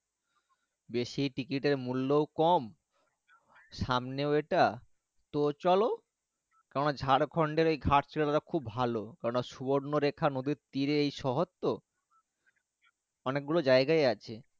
বেশি train এর মূল্য কম সামনে ওটা তো চলো ঝাড়খণ্ড এই ঘাটশিলা ছিল খুব ভালো কেননা সুবর্ণা রেখার তীরে এই শহর তো অনেক গুলো জায়গা আছে।